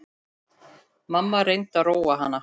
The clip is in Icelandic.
Mamma reyndi að róa hana.